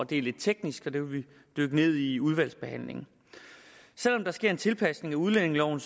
det er lidt teknisk så det vil vi dykke ned i i udvalgsbehandlingen selv om der sker en tilpasning af udlændingeloven